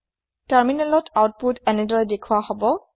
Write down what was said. তাৰমিনেলত আউতপোত এনেদৰে দেখোৱা হব